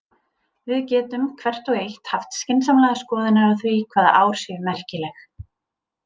Við getum, hvert og eitt, haft skynsamlegar skoðanir á því hvaða ár séu merkileg.